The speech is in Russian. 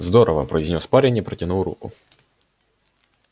здорово произнёс парень и протянул руку